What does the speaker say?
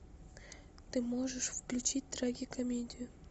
ты можешь включить трагикомедию